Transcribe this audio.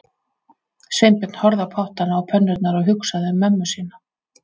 Sveinbjörn horfði á pottana og pönnurnar og hugsaði um mömmu sína